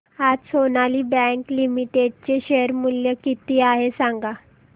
आज Sonali bank limited चे share मूल्य किती आहे सांगा